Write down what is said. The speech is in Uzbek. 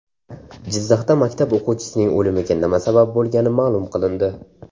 Jizzaxda maktab o‘quvchisining o‘limiga nima sabab bo‘lgani ma’lum qilindi.